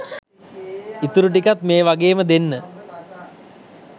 ඉතුරු ටිකත් මේ වගේම දෙන්න